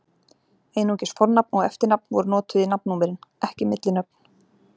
Einungis fornafn og eftirnafn voru notuð í nafnnúmerin, ekki millinöfn.